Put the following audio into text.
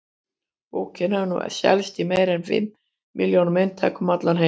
Bókin hefur nú selst í meira en fimm milljónum eintaka um allan heim.